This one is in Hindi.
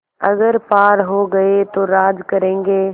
अगर पार हो गये तो राज करेंगे